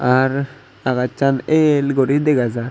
are agasan ell gori dega jar.